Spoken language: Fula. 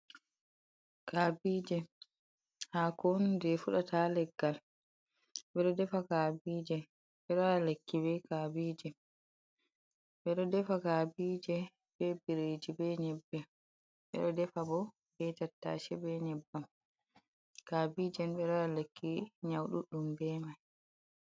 Kaabije hako on je fuɗata ha leggal, ɓeɗo defa kabijee ɓeɗo waɗa lekki be kabije, ɓeɗo defa kabije be biriji be nyebbe, bedot defa bo be tattashi, be nyeɓɓam kabije ni ɓeɗo waɗa lekki nyau ɗuɗɗum be mai.